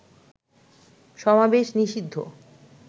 সমাবেশ নিষিদ্ধ